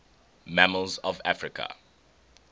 mammals of africa